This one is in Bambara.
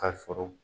Ka sɔrɔ